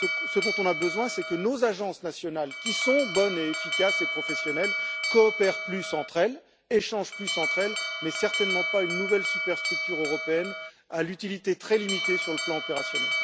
Ce dont on a besoin, c'est que nos agences nationales, qui sont bonnes, efficaces et professionnelles, coopèrent plus entre elles, échangent plus entre elles, mais certainement pas d'une nouvelle superstructure européenne à l'utilité très limitée sur le plan opérationnel.